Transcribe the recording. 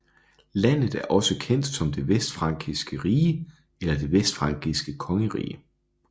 Landet er også kendt som Det vestfrankiske Rige eller Det vestfrankiske Kongerige